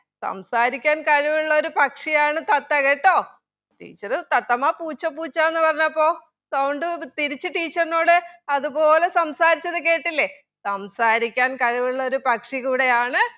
സംസാരിക്കാൻ കഴിവുള്ള ഒരു പക്ഷിയാണ് തത്ത കേട്ടോ teacher തത്തമ്മ പൂച്ച പൂച്ച എന്ന് പറഞ്ഞപ്പോൾ sound തിരിച്ച് teacher നോട് അത് പോലെ സംസാരിച്ചത് കേട്ടില്ലേ